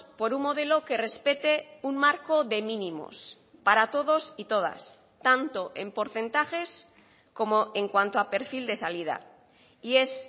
por un modelo que respete un marco de mínimos para todos y todas tanto en porcentajes como en cuanto a perfil de salida y es